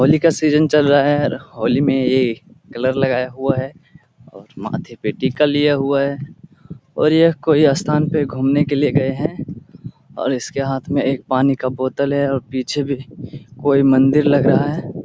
होली का सीजन चल रहा है। होली में ऐ कलर लगाया हुआ है और माथे पे टिका लिया हुआ है और यह कोई अस्थान पे घूमने के लिए गए है और इसके हाथ में एक पानी का बोतल है और पीछे भी कोई मंदिर लग रहा है।